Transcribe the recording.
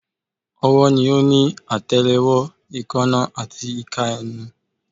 Ọwọ́ ni ó ní àtẹlẹwọ́, èèkánná, àti ìka nínú